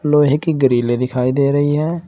लोहे की ग्रिलै दिखाई दे रही है।